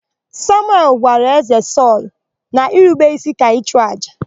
Samuel gwara Ézē Sọlụ na irube ísí ka ịchụàjà.